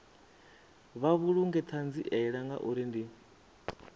vha vhulunge ṱhanziela ngauri ndi